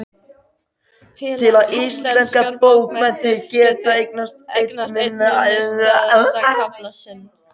Til að íslenskar bókmenntir geti eignast einn minnisstæðasta kafla sinn.